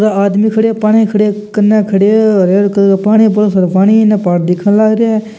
यह आदमी खड़े है पानी खड़े है केन खड़े है और हरे हरे कलर का पानी है और इन पहाड़ दिखन लाग रा है।